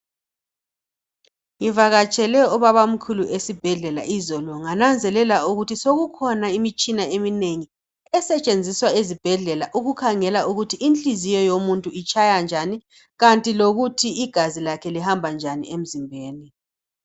Ngivakatshele ubabamkhulu esibhedlela izolo ngananzelela ukuthi sokokukhona imitshina eminengi esetshenziswa ezibhedlela ukukhangela ukuthi inhlizyo yomuntu itshaya njani kanti lokuthi igazi lakhe lihamba njani emzimbeni